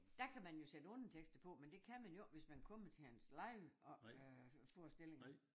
Dér kan man jo sætte undertekster på men det kan man jo ikke hvis man kommer til hans live op øh forestillinger